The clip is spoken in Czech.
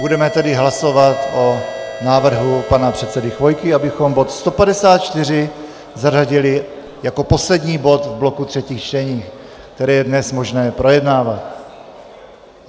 Budeme tedy hlasovat o návrhu pana předsedy Chvojky, abychom bod 154 zařadili jako poslední bod v bloku třetích čtení, které je dnes možné projednávat.